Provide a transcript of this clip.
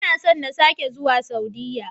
Ina son na sake zuwa Saudiya.